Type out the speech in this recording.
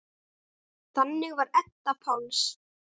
Þannig var Edda Páls.